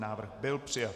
Návrh byl přijat.